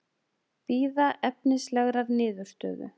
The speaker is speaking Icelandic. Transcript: Bíða efnislegrar niðurstöðu